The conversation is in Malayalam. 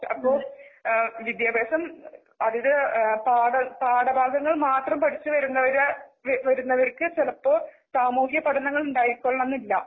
അപ്പൊ ആ വിദ്ത്യഭ്യാസം അതിന് പാഠ പാഠഭാഗങ്ങൾമാത്രം പഠിച്ചുവരുന്നവര് വരുന്നവർക്ക് ചിലപ്പോ സാമൂഹിക പഠനങ്ങൾ ഉണ്ടായിക്കൊള്ളണമെന്നില്ല.